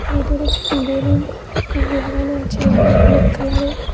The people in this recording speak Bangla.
ভেতরে বেলুন লাগানো আছে লাল হলুদ কালার -এর।